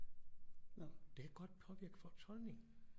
Det kan godt påvirke folks holdning